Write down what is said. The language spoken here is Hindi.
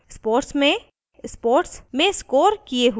* sports में sports में scored किये हुए marks enter करें